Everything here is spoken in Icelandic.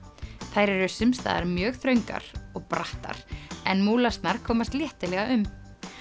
þær eru sums staðar mjög þröngar og brattar en komast léttilega um